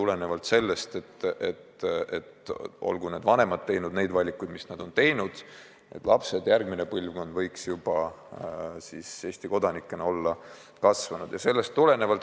Lähtutud on seisukohast, et olgu vanemad teinud mis tahes valikuid, järgmine põlvkond võiks olla Eesti kodanikena kasvanud.